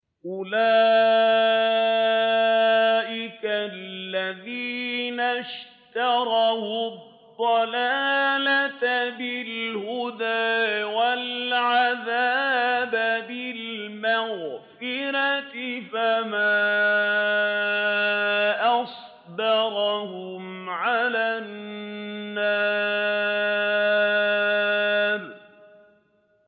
أُولَٰئِكَ الَّذِينَ اشْتَرَوُا الضَّلَالَةَ بِالْهُدَىٰ وَالْعَذَابَ بِالْمَغْفِرَةِ ۚ فَمَا أَصْبَرَهُمْ عَلَى النَّارِ